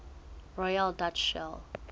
royal dutch shell